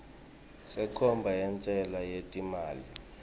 senkhomba yentsela yetimali